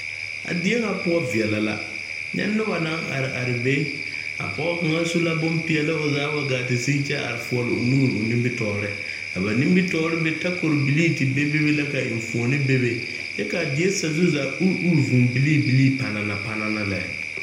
A die ŋa poɔ veɛlɛ la nyɛ noba naŋ are are be a pɔge kaŋ su la bonpeɛlle wa gaa te sigi kyɛ are foɔle o nuure o nimitɔɔre a ba nimitɔɔre be takorbilii te bebe la ka eŋfuoni bebe kyɛ ka a die sazu zaa uri uri vuu bilii bilii panaana panaana lɛ.